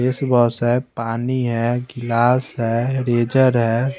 Face wash है पानी है गिलास है रेजर है।